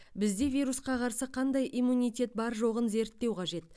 бізде вирусқа қарсы қандай иммунитет бар жоғын зерттеу қажет